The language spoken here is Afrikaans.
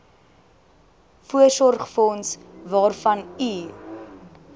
voorsorgsfonds waarvan u